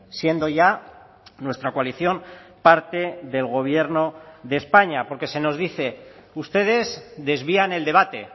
siendo ya nuestra coalición parte del gobierno de españa porque se nos dice ustedes desvían el debate